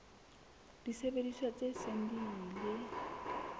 disebediswa tse seng di ile